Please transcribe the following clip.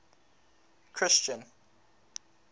christian